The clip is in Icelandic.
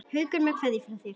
Haukur með kveðju frá þér.